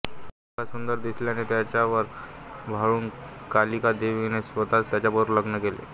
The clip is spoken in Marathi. मुलगा सुंदर दिसल्याने त्याच्यावर भाळून कालिकादेवीने स्वतःच त्याच्याबरो लग्न केले